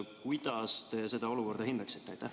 Kuidas te seda olukorda hindaksite?